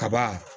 Kaba